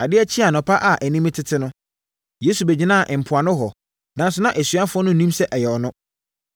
Adeɛ kyee anɔpa a anim retete no, Yesu bɛgyinaa mpoano hɔ, nanso na asuafoɔ no nnim sɛ ɛyɛ ɔno.